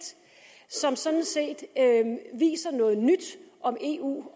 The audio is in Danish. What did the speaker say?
som sådan set viser noget nyt om eu